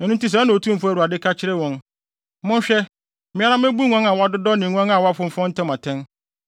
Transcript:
“ ‘Ɛno nti sɛɛ na Otumfo Awurade ka kyerɛ wɔn: Monhwɛ, me ara mebu nguan a wɔadodɔ ne nguan a wɔafonfɔn ntam atɛn.